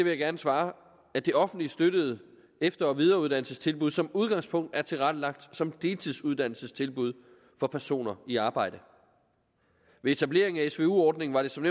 jeg gerne svare at det offentligt støttede efter og videreuddannelsestilbud som udgangspunkt er tilrettelagt som deltidsuddannelsestilbud for personer i arbejde ved etableringen af svu ordningen var det som